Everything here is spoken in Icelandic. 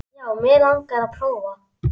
Já, mig langar að prófa.